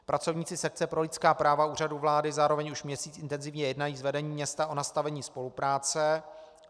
Pracovníci sekce pro lidská práva Úřadu vlády zároveň už měsíc intenzivně jednají s vedením města o nastavení spolupráce.